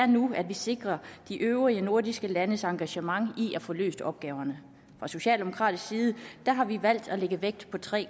nu at vi sikrer de øvrige nordiske landes engagement i at få løst opgaverne fra socialdemokratisk side har vi valgt at lægge vægt på tre